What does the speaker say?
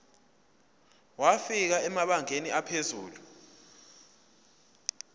wafika emabangeni aphezulu